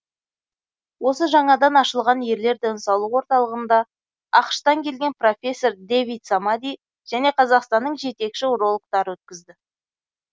осы жаңадан ашылған ерлер денсаулығы орталығында ақш тан келген профессор дэвид самади және қазақстанның жетекші урологтары өткізді